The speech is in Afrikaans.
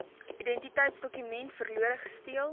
identiteitsdokument verlore gesteel